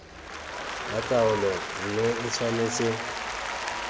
ya taolo mme e tshwanetse